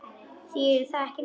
Þýðir það ekki neitt?